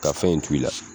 Ka fɛn in to i la